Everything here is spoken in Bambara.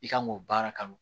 I kan k'o baara kanu